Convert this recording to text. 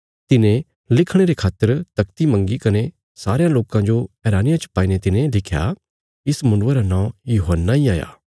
तिने लिखणे रे खातर तख्ती मंगी कने सारेयां लोकां जो हैरानिया च पाईने तिने लिख्या इस मुण्डुये रा नौं यूहन्ना इ हाया